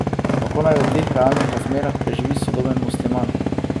Kako naj v teh realnih razmerah preživi sodoben musliman?